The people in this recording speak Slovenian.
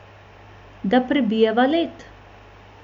Da prebijeva led?